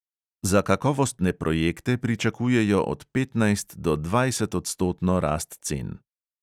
Za kakovostne projekte pričakujejo od petnajst do dvajsetodstotno rast cen.